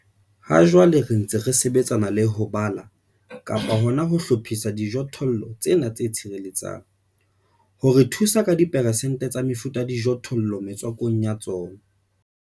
Hajwale re ntse re sebetsana le ho bala-hlophisa dijothollo tsena tse tshireletsang, ho re thusa ka diperesente tsa mefuta ya dijothollo metswakong ya tsona.